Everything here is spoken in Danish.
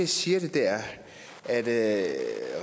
siger det er at